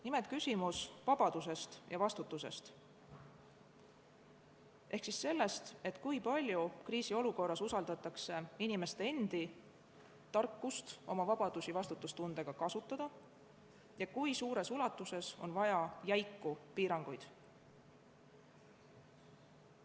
Nimelt, küsimus vabadusest ja vastutusest ehk sellest, kui palju kriisiolukorras usaldatakse inimeste enda tarkust oma vabadusi vastutustundlikult kasutada ja kui suures ulatuses on vaja jäiku piiranguid.